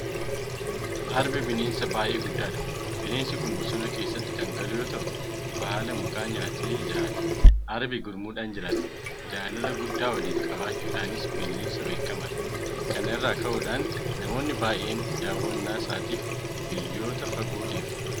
Arbi bineensa baay'ee guddaadha. Bineensi kun bosona keessatti kan galu yoota'u baala mukaa nyaatee jiraata. Arbi gurmuudhaan jiraata. Jaalala guddaa waliif qabaachuudhaanis bineensa beekamaadha. Kana irraa ka'uudhaan namoonni baay'een daawwannaa isaatiif biyyoota fagoo deemu.